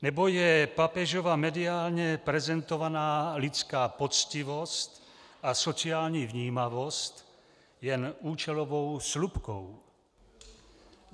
Nebo je papežova mediálně prezentovaná lidská poctivost a sociální vnímavost jen účelovou slupkou.